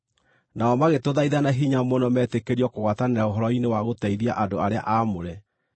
Nao magĩtũthaitha na hinya mũno metĩkĩrio kũgwatanĩra ũhoro-inĩ wa gũteithia andũ arĩa aamũre.